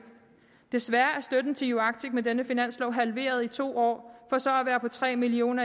desværre er støtten til uarctic med denne finanslov halveret i to år for så igen at være på tre million